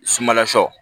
Sumala sɔ